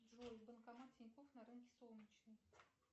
джой банкомат тинькофф на рынке солнечный